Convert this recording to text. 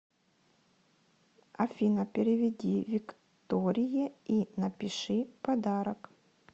афина переведи викторие и напиши подарок